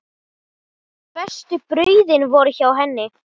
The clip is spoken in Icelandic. Bestu brauðin voru hjá henni.